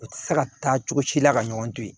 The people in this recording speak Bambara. U tɛ se ka taa cogo si la ka ɲɔgɔn to yen